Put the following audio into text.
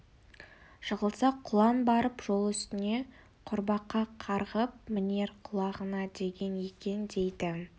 жығылса құлан барып жол үстіне құрбақа қарғып мінер құлағына деген екен дейді